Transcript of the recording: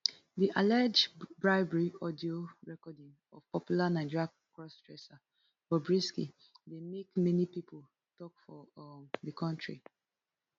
di allege bribery audio recording of popular nigeria cross dresser bobrisky dey make many pipo tok for um di kontri